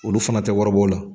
Olu fana tɛ wari bɔ o la.